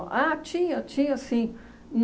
Ah, tinha, tinha sim.